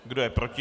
Kdo je proti?